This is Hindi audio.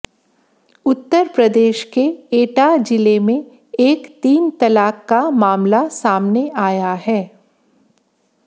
उत्तर प्रदेश के एटा जिले में एक तीन तलाक का मामला सामने आया है